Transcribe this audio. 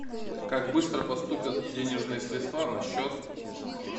как быстро поступят денежные средства на счет